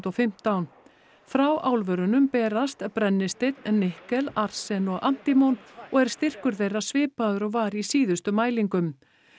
fimmtán frá álverunum berast brennisteinn nikkel arsen og og er styrkur þeirra svipaður og var í síðustu mælingum